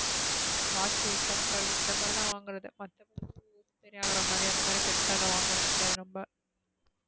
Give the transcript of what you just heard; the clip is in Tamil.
Watch cheppal இந்த மாத்ரி தான் வாங்கறது மத்த படி அந்த மாத்ரி பெருசா ஏதும் வாங்கறது கிடையாது நம்ம.